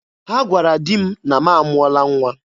Ha gwara di m na m amụọla nwa.